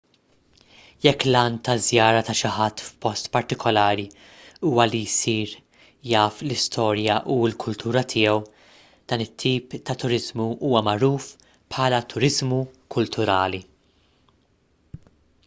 jekk l-għan taż-żjara ta' xi ħadd f'post partikolari huwa li jsir taf l-istorja u l-kultura tiegħu dan it-tip ta' turiżmu huwa magħruf bħala turiżmu kulturali